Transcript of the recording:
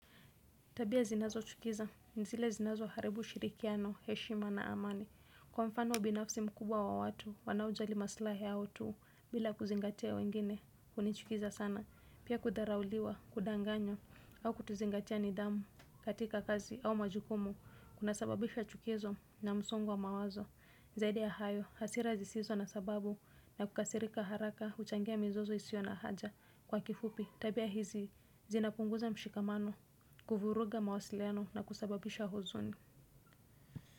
Tabia zinazochukiza, ni zile zinazoharibu ushirikiano, heshima na amani. Kwa mfano binafsi mkubwa wa watu, wanaojali maslahi yao tu, bila kuzingatia wengine, hunichukiza sana. Pia kudharauliwa, kudanganywa au kuzingatia nidhamu katika kazi au majukumu, kunasababisha chuki hizo na msongo wa mawazo. Zaidi ya hayo, hasira zisizo na sababu na kukasirika haraka, huchangia mizozo isio na haja. Kwa kifupi tabia hizi zinapunguza mshikamano kuvuruga mawasiliano na kusababisha huzuni.